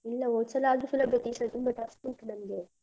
ಇಲ್ಲ, ಹೋದ್ಸಲಾದ್ರು ಸುಲಭ ಇತ್ತು, ಈ ಸಲ ತುಂಬ tough ಉಂಟು ನಮ್ಗೆ.